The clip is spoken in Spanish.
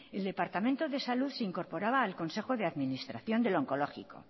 el departamento de salud se incorporaba al consejo de administración del oncológico